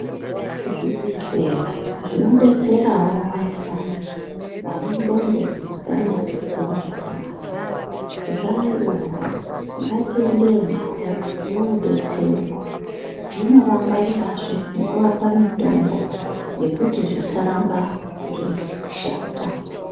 Zvibhedhlera zvinodetserawo vantu vaya vane ndxondo dzisinganasi kutore zvakanaka, zvaayowo. Ngatiendeyo navo, vodetserwa. Zvinovangwarirazve, nekuvape mitombo yekuti zvisarambe zveizi kushata.